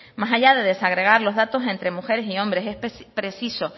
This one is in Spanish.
más allá de desagregar los datos entre mujeres y hombres es preciso